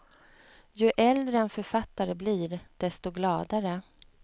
Ju äldre en författare blir, desto gladare.